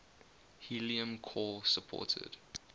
helium core supported